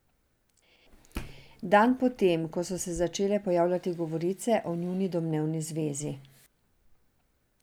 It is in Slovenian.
Dan po tem so se začele pojavljati govorice o njuni domnevni zvezi.